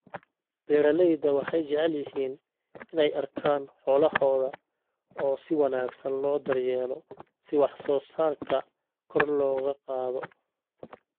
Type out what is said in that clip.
Beeralayda waxay jecel yihiin inay arkaan xoolahooda oo si wanaagsan loo daryeelo si wax soo saarka kor loogu qaado.